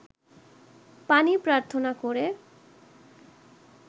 পানি প্রার্থনা করে